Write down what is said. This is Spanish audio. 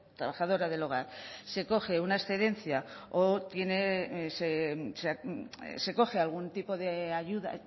trabajadora del hogar se coge una excedencia o tiene se coge algún tipo de ayuda